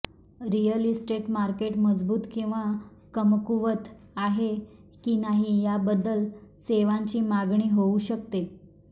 real estate market मजबूत किंवा कमकुवत आहे की नाही याबद्दल सेवांची मागणी होऊ शकते